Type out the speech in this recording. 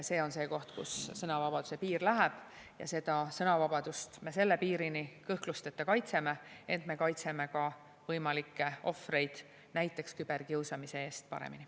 See on see koht, kus sõnavabaduse piir läheb, ja sõnavabadust me selle piirini kõhklusteta kaitseme, ent me kaitseme ka võimalikke ohvreid, näiteks küberkiusamise eest, paremini.